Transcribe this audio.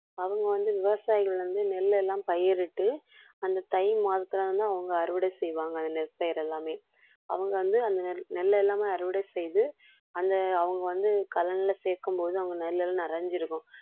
அவங்க வந்து விவசாயிகள் வந்து நெல் எல்லாம் பயிரிட்டு அந்த தை மாதத்தில வந்து, அவங்க அறுவடை செய்வாங்க அந்த நெற்பயிரை எல்லாமே, அவங்க வந்து அந்த நெ~ நெல் எல்லாமே அறுவடை செய்து அந்த அவங்க வந்து கலன்ல சேர்க்கும்போது அங்க நெல் எல்லாம் நிறைஞ்சிருக்கும்